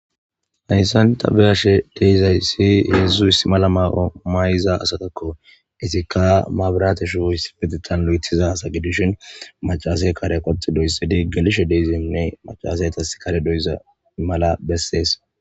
Hayssan ta be'ashe de'izayssi hedzdzu issi mala ma'o ma'iza asatakko. Izikka maburate shubo issippeteththan lo'iththiza asa gidishin maccasiya kare qoxxidi doyisidi gelishe de'izaysanne maccasiya etes kare doyiza mala bessees.